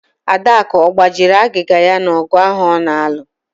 Adaku ọ gbajiri agịga ya n'ogụ ahụ ọ na-alụ?